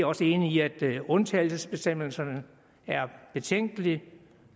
også enige i at undtagelsesbestemmelserne er betænkelige